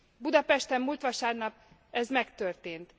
Budapesten múlt vasárnap ez megtörtént.